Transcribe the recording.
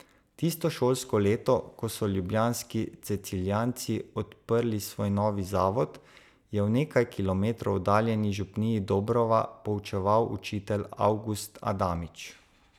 Tisto šolsko leto, ko so ljubljanski cecilijanci odprli svoj novi zavod, je v nekaj kilometrov oddaljeni župniji Dobrova poučeval učitelj Avgust Adamič.